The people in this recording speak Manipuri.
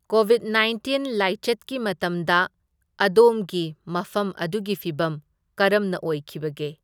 ꯀꯣꯕꯤꯠ ꯅꯥꯏꯟꯇꯤꯟ ꯂꯥꯏꯆꯠꯀꯤ ꯃꯇꯝꯗ ꯑꯗꯣꯝꯒꯤ ꯃꯐꯝ ꯑꯗꯨꯒꯤ ꯐꯤꯚꯝ ꯀꯔꯝꯅ ꯑꯣꯏꯈꯤꯕꯒꯦ?